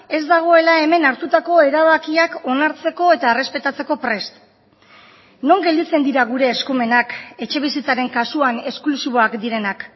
ez dagoela hemen hartutako erabakiak onartzeko eta errespetatzeko prest non gelditzen dira gure eskumenak etxebizitzaren kasuan esklusiboak direnak